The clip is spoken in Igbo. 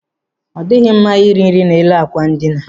Ọ dịghị mma iri nri n'elu àkwà ndina.